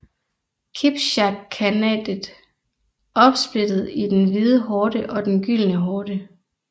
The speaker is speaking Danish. Kipchak khanatet opsplittet i den Hvide Horde og den Gyldne Horde